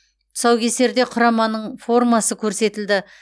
тұсау кесерде құраманың формасы көрсетілді